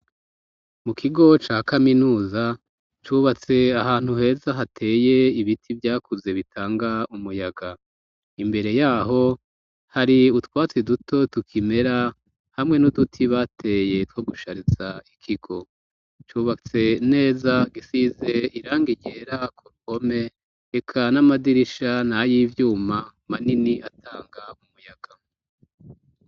Mu kigo ca kaminuza cubatse ahantu heza hateye ibiti vyakuze bitanga umuyaga. Imbere yaho hari utwatsi duto tukimera hamwe n'uduti bateye two gushariza ikigo, cubatse neza gisize irangi ryera ku mpome eka n'amadirisha n'ay'ivyuma manini atanga umuyaga.